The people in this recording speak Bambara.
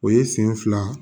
O ye sen fila